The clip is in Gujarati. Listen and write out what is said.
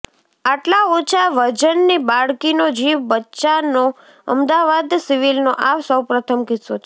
આટલા ઓછા વજનની બાળકીનો જીવ બચ્યાનો અમદાવાદ સિવિલનો આ સૌપ્રથમ કિસ્સો છે